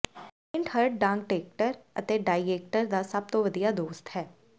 paint ਹਰ ਡਾਂਟੇਕਟਰ ਅਤੇ ਡਾਇਏਟਰ ਦਾ ਸਭ ਤੋਂ ਵਧੀਆ ਦੋਸਤ ਹੈ